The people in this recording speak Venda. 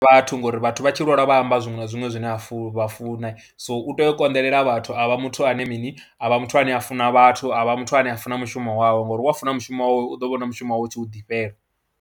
Vhathu ngori vhathu vha tshi lwalwa vha amba zwiṅwe na zwiṅwe zwine a funa, vha funa, so u tea u konḓelela vhathu a vha muthu ane mini, a vha muthu ane a funa vhathu, a vha muthu ane a funa mushumo wawe ngori wa funa mushumo wawe u ḓo vhona mushumo wawe u tshi u ḓifhela.